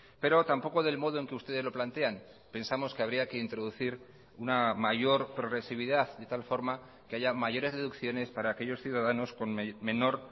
pero tampoco del modo en que ustedes lo plantean pensamos que habría que introducir una mayor progresividad de tal forma que haya mayores deducciones para aquellos ciudadanos con menor